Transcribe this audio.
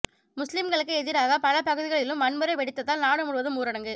முஸ்லிம்களுக்கு எதிராக பல பகுதிகளிலும் வன்முறை வெடித்ததால் நாடு முழுவதும் ஊரடங்கு